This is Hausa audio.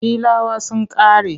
Filawa ta ƙare.